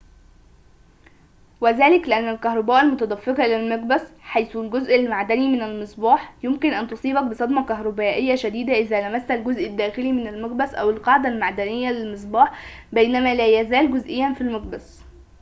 وذلك لأن الكهرباء المتدفقة إلى المقبس حيث الجزء المعدني من المصباح يمكن أن تصيبك بصدمة كهربائية شديدة إذا لمست الجزء الداخلي من المقبس أو القاعدة المعدنية للمصباح بينما لا يزال جزئياً في المقبس